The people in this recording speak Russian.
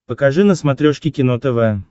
покажи на смотрешке кино тв